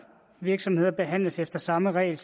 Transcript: virksomheder behandles efter samme regler